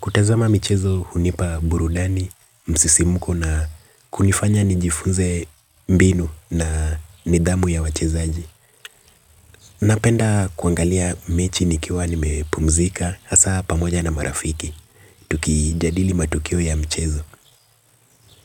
Kutazama mchezo hunipa burudani, msisimuko na kunifanya nijifunze mbinu na nidhamu ya wachezaji. Napenda kuangalia mechi nikiwa nimepumzika hasa pamoja na marafiki. Tuki jadili matukio ya mchezo.